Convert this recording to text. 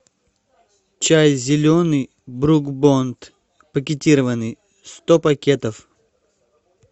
чай зеленый брук бонд пакетированный сто пакетов